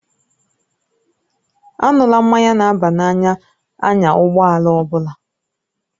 Aṅụla mmanya na-aba n'anya na-anya ụgbọ ala ọ bụla.